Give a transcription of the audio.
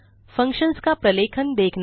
functions का प्रलेखन देखना